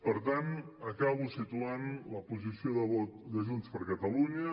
per tant acabo situant la posició de vot de junts per catalunya